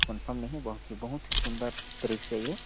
Confirm नहीं बाकी बहुत ही सुंदर दृश्य है।